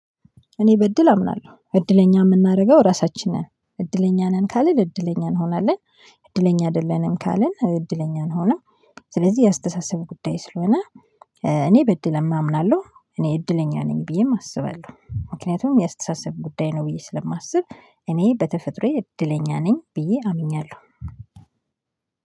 እኔ በእድል አምናለሁ እድለኛ የምናደርገው ራሳችንን እድለኛ ነን ካልን እድለኛ እንሆናለን እድለኛ አይደለንም ካልን እድለኛን አንሆንም። ስለዚህ የአስተሳሰብ ጉዳይ ስለሆነ እኔ በእድል አምናለሁ እኔ እድለኛ ነኝ ብዬም አስባለሁ ምክንያቱም የአስተሳሰብ ጉዳይ ነው ብዬ ስለማስብ እኔ በተፈጥሮዬ እድለኛ ነኝ ብዬ አምኛለሁ።